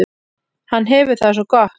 Hann hefur það svo gott.